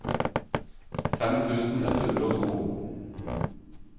fem tusen ett hundre og to